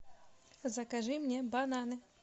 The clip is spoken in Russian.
закажи мне бананы